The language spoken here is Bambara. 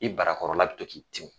I barakɔrɔla bɛ to k'i tin.